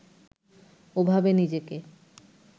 ওভাবে নিজেকে